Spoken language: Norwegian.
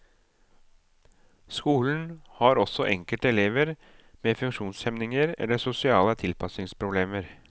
Skole har også enkelte elever med funksjonshemninger eller sosiale tilpasningsproblemer.